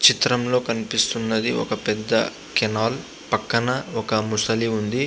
ఈ చిత్రంలో కనిపిస్తున్నది ఒక పెద్ధ కెనాల్ పక్కన ఒక ముసలి ఉంది.